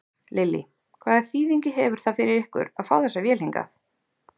Lillý: Hvaða þýðingu hefur það fyrir ykkur að fá þessa vél hingað?